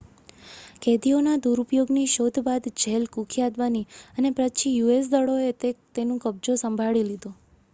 કેદીઓના દુરુપયોગની શોધ બાદ જેલ કુખ્યાત બની અને પછી યુએસ દળોએ તે નું કબજો સંભાળી લીધો